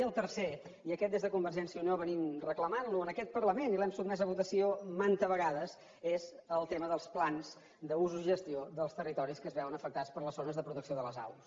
i el tercer i aquest des de convergència i unió venim reclamant lo en aquest parlament i l’hem sotmès a votació manta vegades és el tema dels plans d’usos i gestió dels territoris que es veuen afectats per les zones de protecció de les aus